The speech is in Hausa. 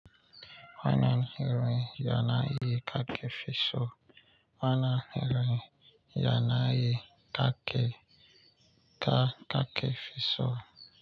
Wane irin yanayi kake fiso wane irin yanayi kake fi so.